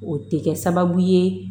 O tɛ kɛ sababu ye